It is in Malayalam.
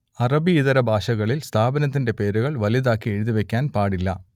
അറബിയിതര ഭാഷകളിൽ സ്ഥാപനത്തിന്റെ പേരുകൾ വലുതാക്കി എഴുതി വെക്കാൻ പാടില്ല